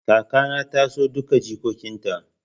Kaka na ta na son duka jikokin ta